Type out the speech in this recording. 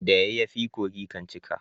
da yayafi kogi kan cika